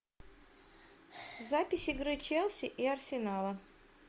запись игры челси и арсенала